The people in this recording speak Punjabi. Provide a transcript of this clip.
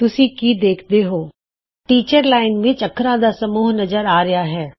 ਤੁਸੀਂ ਕੀ ਦੇਖਦੇ ਹੋ ਟੀਚਰ ਅਧਿਆਪਕ ਲਾਈਨ ਵਿੱਚ ਇਕ ਅੱਖਰਾਂ ਦਾ ਸਮੂਹ ਨਜ਼ਰ ਆ ਰਹਿਆ ਹੈ